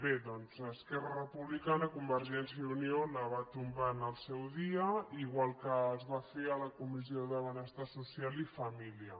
bé doncs esquerra republicana i convergència i unió la van tombar en el seu dia igual que es va fer a la comissió de benestar social i família